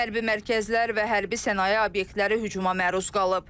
Hərbi mərkəzlər və hərbi sənaye obyektləri hücuma məruz qalıb.